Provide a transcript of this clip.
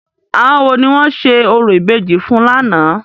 Àwọn wo ni wọ́n ṣe orò ìbejì fún lánàá?